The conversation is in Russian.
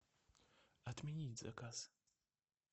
отменить заказ